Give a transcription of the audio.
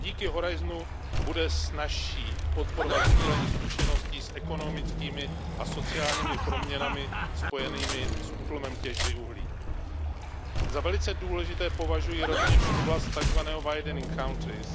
I díky Horizontu bude snazší podporovat sdílení zkušeností s ekonomickými a sociálními proměnami spojenými s útlumem těžby uhlí. Za velice důležité považuji rovněž oblast tak zvaného widening countries